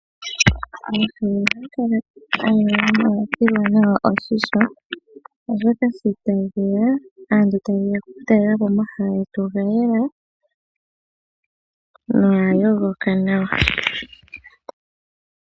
Omahala ngamwe ohangakala ngayela nawa ngo ongasilwa oshisho oshoka aantu sho tayeya okutalelapo omahala ngetu ongayela nongayongoka nawa.